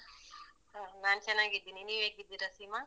ಹಾ ನಾನ್ ಚೆನ್ನಾಗಿದ್ದೀನಿ. ನೀವ್ ಹೇಗಿದ್ದೀರಾ ಸೀಮಾ?